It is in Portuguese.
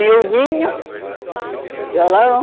Violinho, violão.